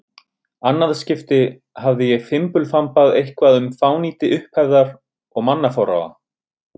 annað skipti hafði ég fimbulfambað eitthvað um fánýti upphefðar og mannaforráða.